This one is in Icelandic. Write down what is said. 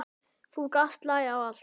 Þú gast lagað allt.